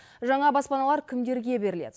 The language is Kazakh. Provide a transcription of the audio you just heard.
жаңа баспаналар кімдерге беріледі